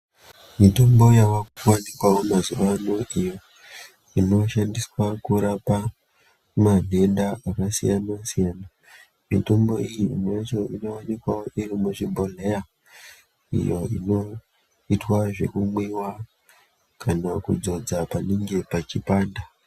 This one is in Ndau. Mitombo yavakuwanikwawo mazuva ano iyo inoshandiswa kurapa manhenda akasiyana siyana mitombo yacho imwe yacho inowanikwa iri muzvibhohleya iyo inoitwa zvekumwiwa kana kudzodza panenge pachipanda.